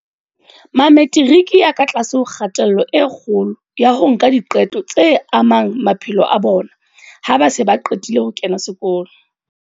Mametiriki a ka tlase ho kgatello e kgolo ya ho nka diqeto tse amang maphelo a bona ha ba se ba qetile ho kena sekolo.